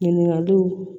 Ɲininkaliw